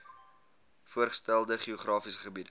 voorgestelde geografiese gebiede